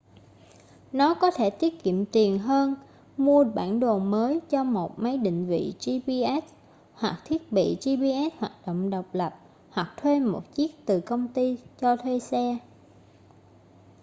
nó có thể tiết kiệm tiền hơn mua bản đồ mới cho một máy định vị gps hoặc thiết bị gps hoạt động độc lập hoặc thuê một chiếc từ công ty cho thuê xe